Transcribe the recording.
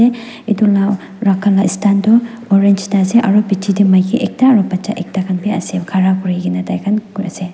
edu la rakha la stand toh orange aro bichae tae maki ekta aro bacha ekta kan biase khara kurikae na taikhan ase.